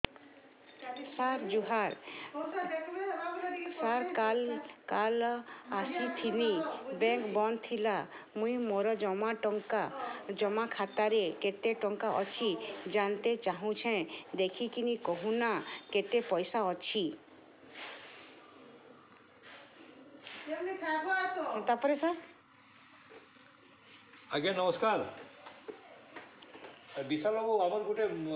ସାର ଜୁହାର ସାର କାଲ ଆସିଥିନି ବେଙ୍କ ବନ୍ଦ ଥିଲା ମୁଇଁ ମୋର ଜମା ଖାତାରେ କେତେ ଟଙ୍କା ଅଛି ଜାଣତେ ଚାହୁଁଛେ ଦେଖିକି କହୁନ ନା କେତ ପଇସା ଅଛି